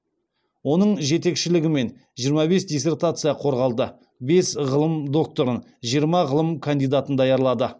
оның жетекшілігімен жиырма бес диссертация қорғалды бес ғылым докторын жиырма ғылым кандидатын даярлады